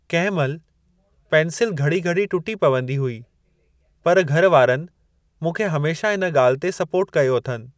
कंहिं महिल पेंसिल घड़ी घड़ी टुटी पवंदी हुई पर घर वारनि मूंखे हमेशह इन ॻाल्हि ते सपोर्ट कयो अथनि।